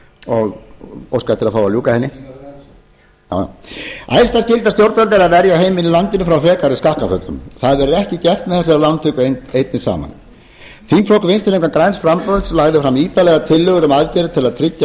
og óska eftir að fá að ljúka henni æðsta skylda stjórnvalda er að verja heimilin í landinu frá frekari skakkaföllum það verður ekki gert með þessari lántöku einni saman þingflokkur vinstri hreyfingarinnar græns framboðs lagði fram ítarlegar tillögur um aðgerðir til að tryggja